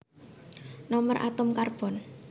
Nomer atom Karbon